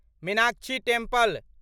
Meenakshi temple